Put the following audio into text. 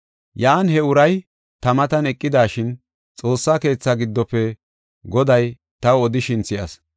Yan he uray ta matan eqidashin, Xoossa keetha giddofe Goday taw odishin si7as.